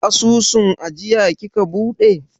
Asusun ajiya kika buɗe?